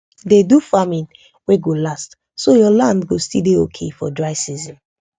dey do farming wey go last so your land go still dey okay for dry season